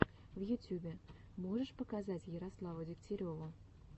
в ютюбе можешь показать ярославу дегтяреву